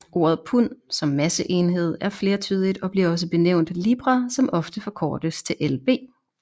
Ordet pund som masseenhed er flertydigt og bliver også benævnt libra som ofte forkortes til lb